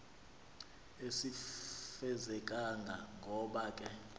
asifezekanga ngoko ke